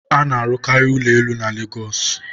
a na-arụkarị ụlọ elu na Lagos